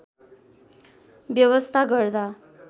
व्यवस्था गर्दा